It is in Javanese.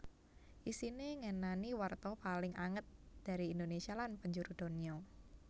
Isiné ngenani warta paling anget dari Indonésia lan penjuru donya